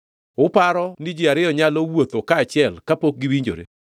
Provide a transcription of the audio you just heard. Uparo ni ji ariyo nyalo wuotho kaachiel kapok giwinjore?